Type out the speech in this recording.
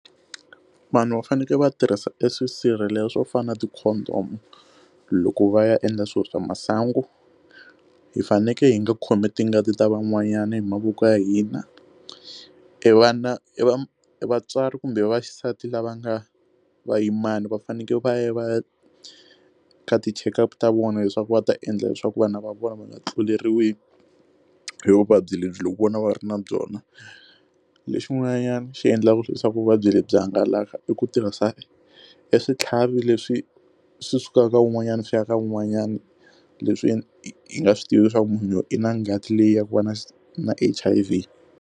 Vanhu va fanekele va tirhisa eswisirhelelo swo fana na ti-condom loko va ya endla swilo swa masangu hi fanekele hi nga khomi tingati ta van'wanyana hi mavoko ya hina, i vana i va vatswari kumbe va xisati lava nga va yimani va fanekele va ya va ya ka ti-checkup ta vona leswaku va ta endla leswaku vana va vona va nga tluleriwi hi vuvabyi lebyi loko vona va ri na byona lexiwani xi endlaka swi leswaku vuvabyi lebyi hangalaka i ku tirhisa eswitlhavi leswi swi sukaka un'wanyana swi ya ka un'wanyana leswi yi nga swi tivi leswaku munhu i na ngati leyi ya ku va na xi na H_I_V.